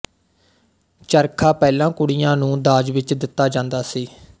ਚਰਖ਼ਾ ਪਹਿਲਾਂ ਕੁੜੀਆਂ ਨੂੰ ਦਾਜ ਵਿੱਚ ਦਿੱਤਾ ਜਾਂਦਾ ਸੀ